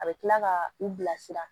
A bɛ tila ka u bilasira